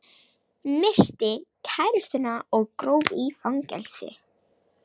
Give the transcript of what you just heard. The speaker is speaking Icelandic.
Myrti kærustuna og gróf í fangelsi